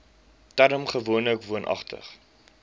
term gewoonlik woonagtig